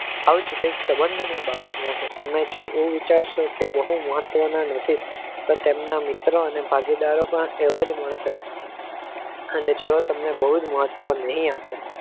આવું જ કંઈક સંબંધની બાબતમાં છે. તમે એવું વિચારશો કે બહુ મહત્વના નથી પણ તેમના મિત્ર અને ભાગીદારો પણ એવા જ મળશે અને જેવો તમને બહુ જ મહત્વ નહીં આપે